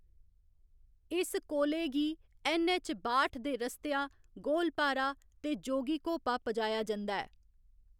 इस कोले गी ऐन्न. ऐच्च. बाठ दे रस्तेआ गोलपारा ते जोगीघोपा पजाया जंदा ऐ।